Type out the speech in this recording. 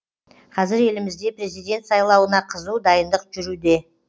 қазір елімізде президент сайлауына қызу дайындық жүруде